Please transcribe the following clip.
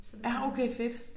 Ja okay fedt!